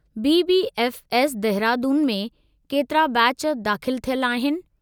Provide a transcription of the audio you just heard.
BBF S, Dehradun में केतिरा batch दाख़िलु थियल आहिनि?